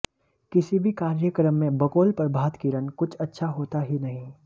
किसी भी कार्यक्रम में बकौल प्रभात किरण कुछ अच्छा होता ही नहीं